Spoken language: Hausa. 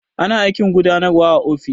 Ana aikin gudanarwa a ofis.